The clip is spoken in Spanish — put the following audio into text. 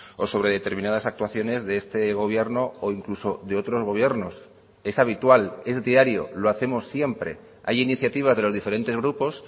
o sobre determinadas actuaciones de este gobierno o incluso de otros gobiernos es habitual es diario lo hacemos siempre hay iniciativas de los diferentes grupos